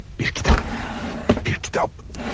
Bir kitab, bir kitab.